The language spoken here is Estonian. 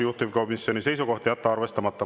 Juhtivkomisjoni seisukoht on jätta arvestamata.